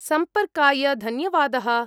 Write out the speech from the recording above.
सम्पर्काय धन्यवादः।